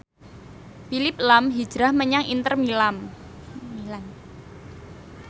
Phillip lahm hijrah menyang Inter Milan